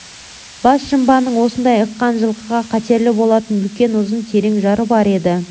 бас жымбаның осындай ыққан жылқыға қатерлі болатын үлкен ұзын терең жары бар еді